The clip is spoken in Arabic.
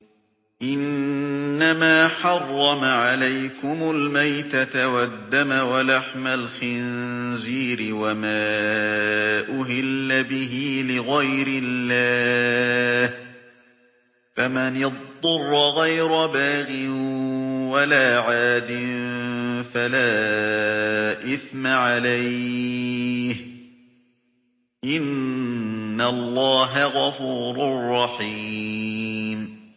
إِنَّمَا حَرَّمَ عَلَيْكُمُ الْمَيْتَةَ وَالدَّمَ وَلَحْمَ الْخِنزِيرِ وَمَا أُهِلَّ بِهِ لِغَيْرِ اللَّهِ ۖ فَمَنِ اضْطُرَّ غَيْرَ بَاغٍ وَلَا عَادٍ فَلَا إِثْمَ عَلَيْهِ ۚ إِنَّ اللَّهَ غَفُورٌ رَّحِيمٌ